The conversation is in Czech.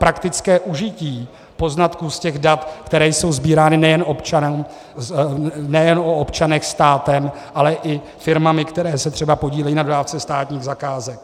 Praktické užití poznatků z těch dat, která jsou sbírána nejen o občanech státem, ale i firmami, které se třeba podílejí na dodávce státních zakázek.